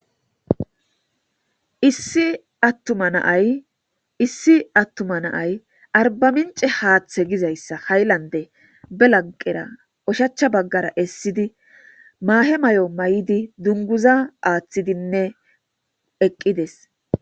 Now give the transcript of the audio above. issi attuma naay arbamince haaththe gizayssa hayllande belagqera oshachcha baggara essidi maahe may7o may7idi dunguza aaththidinne eqqides